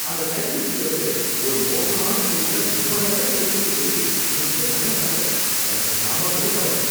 அந்த சைக்கிள் விக்கறவரு ஒரு மோசமான சைக்கிள ரொம்ப நல்ல சைக்கிள்னு சொல்லி என்கிட்ட தள்ள பார்த்தாரு, எனக்கு செம கடுப்பாயிடுச்சு.